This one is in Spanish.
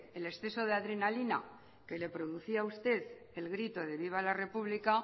el exceso de adrenalina que le producía a usted el grito de viva la república